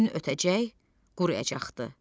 Gün ötəcək, quruyacaqdı.